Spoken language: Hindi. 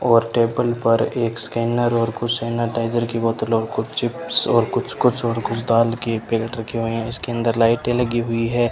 और टेबल पर एक स्कैनर और कुछ स्नाइटाइजर की बॉटल और कुछ चिप्स और कुछ कुछ और कुछ दाल के पैकेट रखे हुए है इसके अंदर लाइटें लगी हुई है।